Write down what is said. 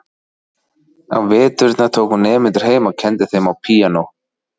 Á veturna tók hún nemendur heim og kenndi þeim á píanó.